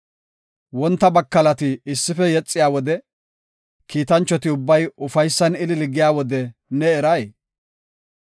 Wonta bakalati issife yexiya wode, kiitanchoti ubbay ufaysan ilili giya wode ne eray?